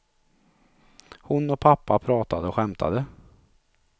Hon och pappa pratade och skämtade.